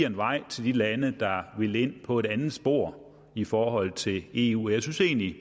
en vej til de lande der vil ind på et andet spor i forhold til eu jeg synes egentlig